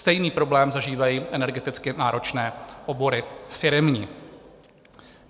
Stejný problém zažívají energeticky náročné obory firemní.